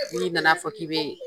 Ni nana fɔ k'i be